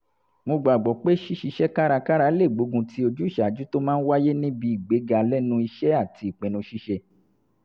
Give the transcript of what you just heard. mo gbàgbọ́ pé ṣíṣiṣẹ́ kárakára lè gbógunti ojúṣàájú tó máa ń wáyé níbi ìgbéga lẹ́nu iṣẹ́ àti ìpinnu ṣíṣe